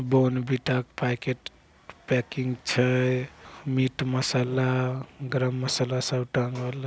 बोर्नविटा के packet packing छै। Meat masala garam masala सब टाँगल ह--